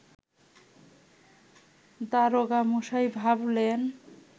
দারোগামশাই ভাবলেন